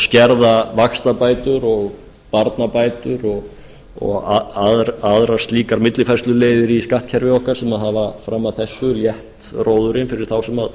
skerða vaxtabætur barnabætur og aðrar slíkar millifærsluleiðir í skattkerfi okkar sem hafa fram að þessu létt róðurinn fyrir þá sem